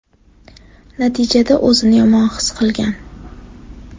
Natijada o‘zini yomon his qilgan.